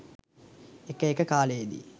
එක එක කාලයේදී